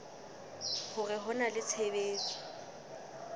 hore ho na le tshebetso